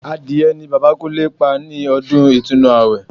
Adìrẹ ni Bàbá Kúnlé pa ní ọdún Ìtúnu àwẹ̀